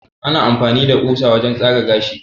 ana amfani da kusa wajen tsaga gashi